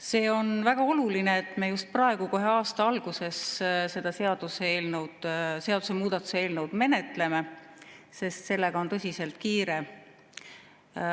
See on väga oluline, et me just praegu, kohe aasta alguses seda seadusemuudatuse eelnõu menetleme, sest sellega on tõsiselt kiire.